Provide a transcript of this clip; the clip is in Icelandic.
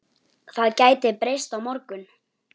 Það gæti breyst á morgun.